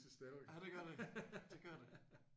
Ja det gør det. Det gør det